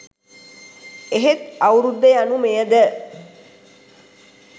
එහෙත් අවුරුද්ද යනු මෙයද